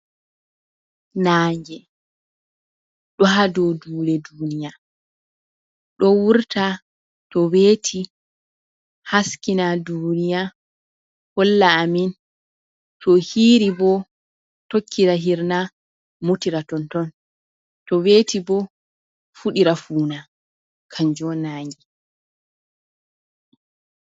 Naange ɗo ha do dule duniya do wurta to veti haskina duniya holla amin to hiiri bo tokkira hirna mutira ton ton to weti bo fuɗira funa kanjo nange.